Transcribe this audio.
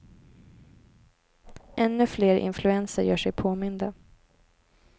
Ännu fler influenser gör sig påminda.